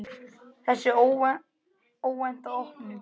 Þessi óvænta opnun